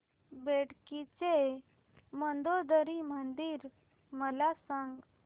बेटकी चे मंदोदरी मंदिर मला सांग